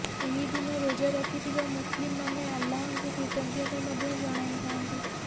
ଏହି ଦିନ ରୋଜା ରଖିଥିବା ମୁସଲିମ୍ ମାନେ ଆଲ୍ଲାହଙ୍କୁ କୃତଜ୍ଞତା ମଧ୍ୟ ଜଣାଇଥାନ୍ତି